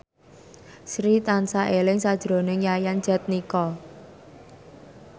Sri tansah eling sakjroning Yayan Jatnika